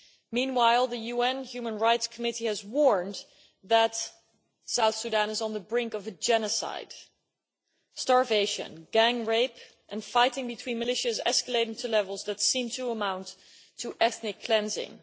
Meanwhile, the UN Human Rights Committee has warned that South Sudan is on the brink of genocide, starvation, gang rape and fighting between militias escalating to levels that seem to amount to ethnic cleansing.